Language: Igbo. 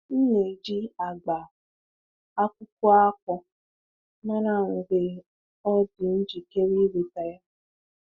M na-eji agba akwụkwọ akpu mara mgbe ọ dị njikere iweta ya.